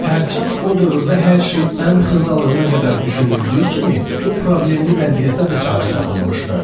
Hərçənd o dövrdə hər şey ən xırdalığına qədər düşünüldüyü kimi, bu problemli vəziyyətə də çarə tapılmışdı.